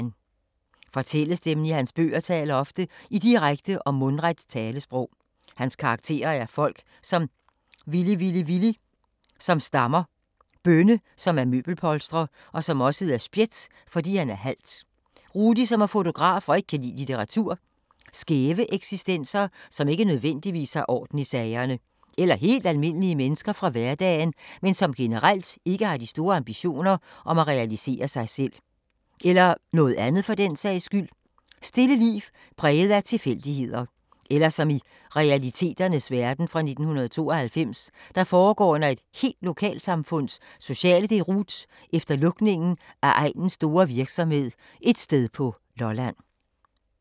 Fortællestemmen i hans bøger taler ofte i direkte og mundret talesprog. Hans karakterer er folk som Villy-Villy-Villy, som stammer. Bønne, som er møbelpolstrer, som også hedder Spjæt fordi han er halt. Rudi som er fotograf og ikke kan lide litteratur. Skæve eksistenser, som ikke nødvendigvis har orden i sagerne. Eller helt almindelige mennesker fra hverdagen, men som generelt ikke har de store ambitioner om at realisere sig selv. Eller noget andet for den sags skyld. Stille liv præget af tilfældigheder. Eller som i Realiteternes verden, fra 1992, der foregår under et helt lokalsamfunds sociale deroute efter lukningen af egnens store virksomhed et sted på Lolland.